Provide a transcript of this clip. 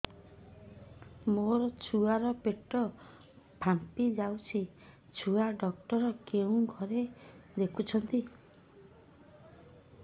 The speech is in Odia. ମୋ ଛୁଆ ର ପେଟ ଫାମ୍ପି ଯାଉଛି ଛୁଆ ଡକ୍ଟର କେଉଁ ଘରେ ଦେଖୁ ଛନ୍ତି